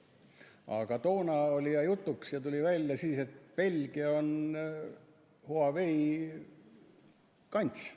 Aga toona oli jutuks ja tuli välja, et Belgia on Huawei kants.